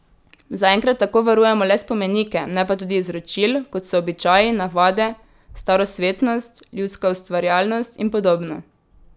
Zaenkrat tako varujemo le spomenike, ne pa tudi izročil, kot so običaji, navade, starosvetnost, ljudska ustvarjalnost in podobno.